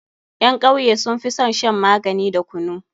Ƴan kauye sun fi son shan magani da kunu.